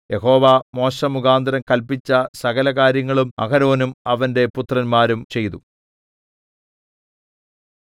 യഹോവ മോശെമുഖാന്തരം കല്പിച്ച സകല കാര്യങ്ങളും അഹരോനും അവന്റെ പുത്രന്മാരും ചെയ്തു